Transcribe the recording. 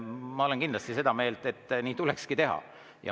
Ma olen kindlasti seda meelt, et nii tulekski teha.